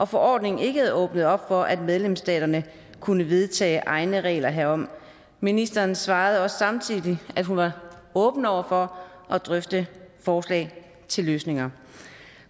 forordningen ikke havde åbnet op for at medlemsstaterne kunne vedtage egne regler herom ministeren svarede også samtidig at hun er åben over for at drøfte forslag til løsninger